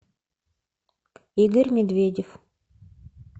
игорь медведев